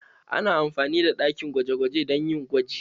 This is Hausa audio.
Ana amfani da ɗakin gwaje-gwaje don yin gwaji